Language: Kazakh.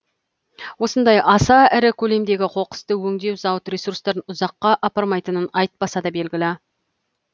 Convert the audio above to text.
осындай аса ірі көлемдегі қоқысты өңдеу зауыт ресурстарын ұзаққа апармайтынын айтпаса да белгілі